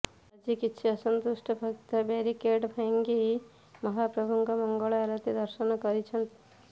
ଆଜି କିଛି ଅସନ୍ତୁଷ୍ଟ ଭକ୍ତ ବ୍ୟାରିକେଡ୍ ଭାଂଗି ମହାପ୍ରଭୁଙ୍କ ମଙ୍ଗଳ ଆଳତି ଦର୍ଶନ କରିଛନ୍ତି